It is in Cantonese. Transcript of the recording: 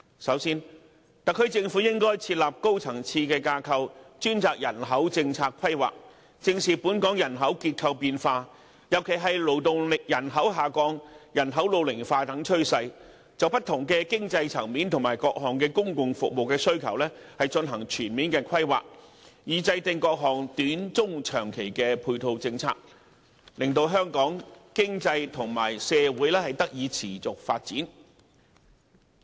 首先，特區政府應設立高層次架構，專責人口政策規劃，正視本港人口結構變化，尤其是勞動力人口下降、人口老齡化等趨勢，就不同經濟層面及各項公共服務需求進行全面規劃，以制訂各項短、中、長期的配套政策，令香港經濟及社會得以持續發展。